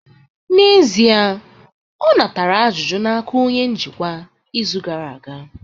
N'ezie, ọ natara ajụjụ n'aka onye njikwa izu gara aga